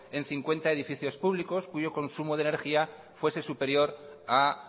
en cincuenta edificios públicos cuyo consumo de energía fuese superior a